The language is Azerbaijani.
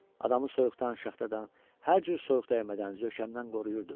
Adamı soyuqdan, şaxtadan, hər cür soyuqdəymədən, zökəmdən qoruyurdu.